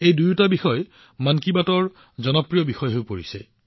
এই দুয়োটা বিষয়েই মন কী বাতৰ প্ৰিয় বিষয় হৈ আহিছে